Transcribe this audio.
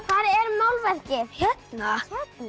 er málverkið hérna